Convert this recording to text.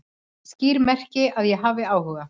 Skýr merki að ég hafi áhuga